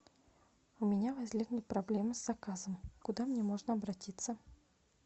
у меня возникли проблемы с заказом куда мне можно обратиться